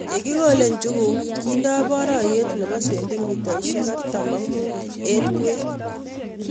Ye kikole njuguk kendeni barayot nepo cendimita artam ak mut eng kwen